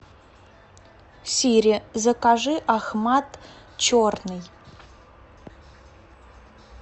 сири закажи ахмад черный